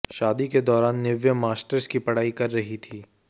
शादी के दौरान निव्या मास्टर्स की पढ़ाई कर रही थी